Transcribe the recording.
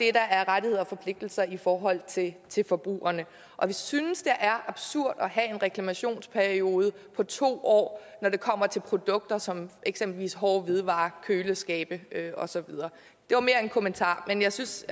er rettigheder og forpligtelser i forhold til til forbrugerne og vi synes at det er absurd at have en reklamationsperiode på to år når det kommer til produkter som eksempelvis hårde hvidevarer køleskabe og så videre det var mere en kommentar men jeg synes